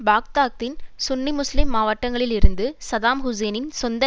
பாக்தாத்தின் சுன்னி முஸ்லிம் மாவட்டங்களிலிருந்து சதாம் ஹூசேனின் சொந்த